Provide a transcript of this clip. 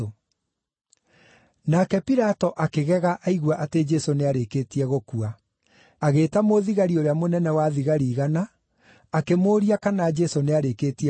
Nake Pilato akĩgega aigua atĩ Jesũ nĩarĩkĩtie gũkua. Agĩĩta mũthigari ũrĩa mũnene-wa-thigari-igana, akĩmũũria kana Jesũ nĩarĩkĩtie gũkua.